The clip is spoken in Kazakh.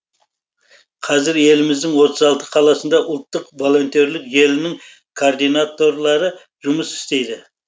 қазір еліміздің отыз алты қаласында ұлттық волонтерлік желінің координаторлары жұмыс істейді